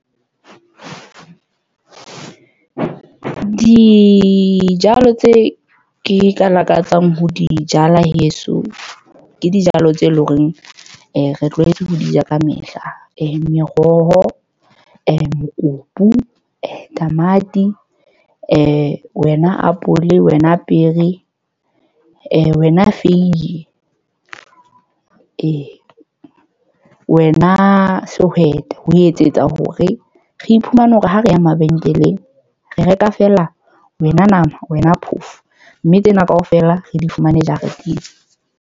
Dijalo tse ke ka lakatsang ho di jala heso ke dijalo tse leng hore re tlwaetse ho di ja ka mehla. meroho, mokopu, tamati wena apole, wena pere, wena feiye. wena sehwete ho etsetsa hore re iphumane hore ha re ya mabenkeleng. Re reka fela wena nama, wena phofo. Mme tsena ka ofela re di fumane jareteng.